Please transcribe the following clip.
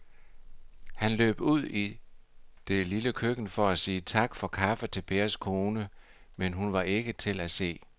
Han løb ud i det lille køkken for at sige tak for kaffe til Pers kone, men hun var ikke til at se.